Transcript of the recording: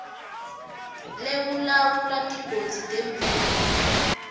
lekulawula tigodzi temvula